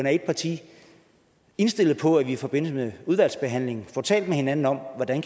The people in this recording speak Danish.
af et parti indstillet på at vi i forbindelse med udvalgsbehandlingen får talt med hinanden om hvordan